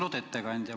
Austatud ettekandja!